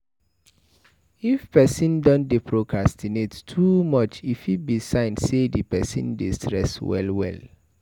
If person don dey procrastinate too much e fit be sign sey di person dey stress well well